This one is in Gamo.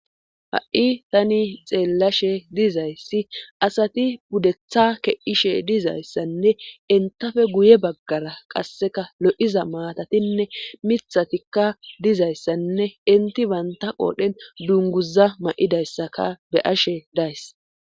ha7i tani xeellashe dizayssi asati pudetha ke7ishe dizayssanne intafe guye baggara qasseka lo7iza maatatinne mithatikka dizayssanne inti baynta qoodhen dunguza ma7idayssaka be'ashe days